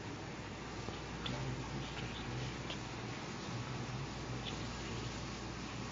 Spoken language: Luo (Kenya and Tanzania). Ti gi Google Translate mondo ilok weche mapiyo.